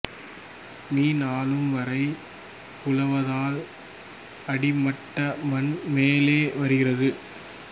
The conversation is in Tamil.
மீ ஆழம் வரை உழுவதால் அடிமட்ட மண் மேலே வருகிறது